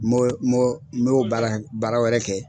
n y'o baara baara wɛrɛ kɛ